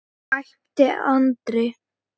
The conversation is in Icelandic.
æpti Andri.